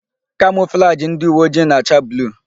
Kamọflajị ndị uweojii na-acha bluu.